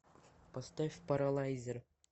поставь паралайзер